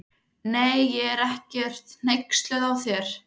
Nei, ég er ekkert hneyksluð á þér.